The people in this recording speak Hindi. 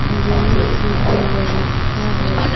गेम की भी व्यवस्था है।